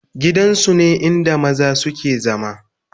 gidan su ne inda maza su ke zama